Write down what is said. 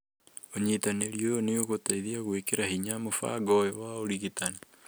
ũnyitanĩri ũyũ nĩ ũgũteithia gũĩkĩra hinya mũbango ũyũ wa ũrigitani.